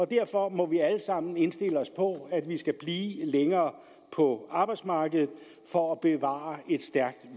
derfor må vi alle sammen indstille os på at vi skal blive længere på arbejdsmarkedet for at bevare et stærkt